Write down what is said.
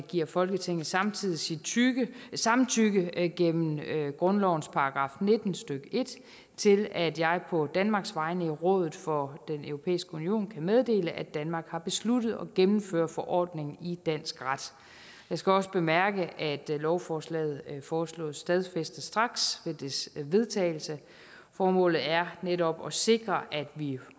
giver folketinget samtidig sit samtykke gennem grundlovens § nitten stykke en til at jeg på danmarks vegne i rådet for den europæiske union kan meddele at danmark har besluttet at gennemføre forordningen i dansk ret jeg skal også bemærke at lovforslaget foreslås stadfæstet straks ved dets vedtagelse formålet er netop at sikre at vi